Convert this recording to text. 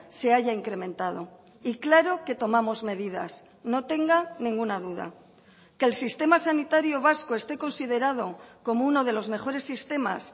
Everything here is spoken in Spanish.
se haya incrementado y claro que tomamos medidas no tenga ninguna duda que el sistema sanitario vasco esté considerado como uno de los mejores sistemas